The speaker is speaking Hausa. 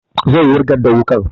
Zai wurgar da wukan